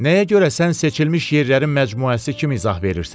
Nəyə görə sən seçilmiş yerlərin məcmuəsi kimi izah verirsən?